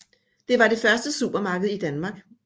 Det var det første supermarked i Danmark